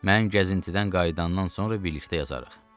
Mən gəzintidən qayıdandan sonra birlikdə yazarıq.